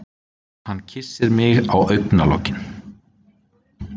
Hann kyssir mig á augnalokin.